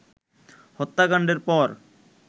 হত্যাকাণ্ডের পর